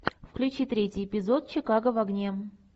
включи третий эпизод чикаго в огне